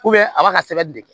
a b'a ka sɛbɛnni de kɛ